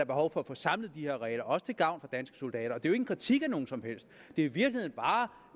behov for at få samlet de her regler også til gavn for danske soldater og det jo en kritik af nogen som helst det er